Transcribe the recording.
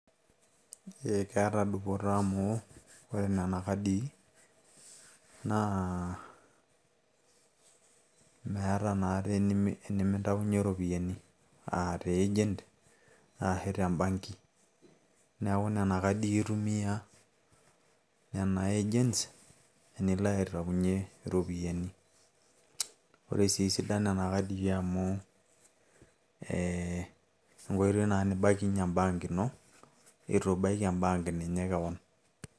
ee keeta dupoto amu ore nena kadii naa meeta naatii enimintainyie iropiyiani aa te agent arashu tembanki neeku nena kadii aitumiya nena agents enilo aitaunyie iropiyiani ore sii esidano e nena kadii amu ee enkoitoi naa nibaikinyie embank ino itu ibaiki embank ninye kewon.